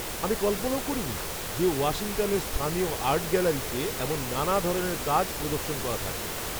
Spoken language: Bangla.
আমি কল্পনাও করিনি যে ওয়াশিংটনের স্থানীয় আর্ট গ্যালারিতে এমন নানা ধরনের কাজ প্রদর্শন করা থাকবে!